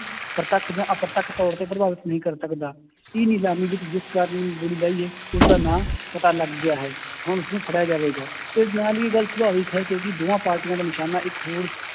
ਪ੍ਰਤੱਖ ਜਾ ਅਪ੍ਰੱਤਖ ਤੌਰ ਤੇ ਪ੍ਰਭਾਵਿਤ ਨਹੀਂ ਕਰ ਸਕਦਾ, ਇਹ ਨਿਲਾਮੀ ਵਿੱਚ ਜਿਸ ਕਾਰਨ ਉਸਦਾ ਨਾਂ ਪਤਾ ਲੱਗ ਗਿਆ ਹੈ, ਹੁਣ ਉਸਨੂੰ ਫੜਿਆ ਜਾਵੇਗਾ ਤੇ ਨਾਲ ਹੀ ਇਹ ਗੱਲ ਸੁਭਾਵਕ ਹੈ ਕਿਉਂਕਿ ਦੋਹਾਂ ਪਾਰਟੀਆਂ ਦਾ ਨਿਸ਼ਾਨਾ ਇੱਕ ਹੋਣ